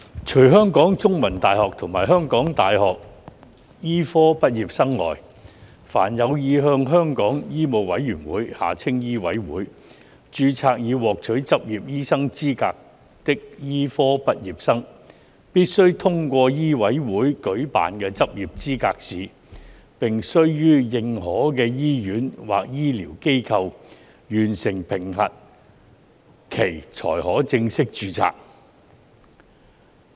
除香港中文大學及香港大學的醫科畢業生外，凡有意向香港醫務委員會註冊以獲取執業醫生資格的醫科畢業生，必須通過醫委會舉辦的執業資格試，並須於認可的醫院或醫療機構完成評核期才可正式註冊。